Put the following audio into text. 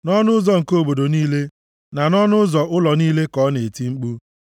Nʼọnụ ụzọ nke obodo niile na nʼọnụ ụzọ ụlọ niile ka ọ nọ na-eti mkpu,